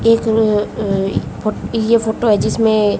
एक र अह इ ये फोटो है जिसमें--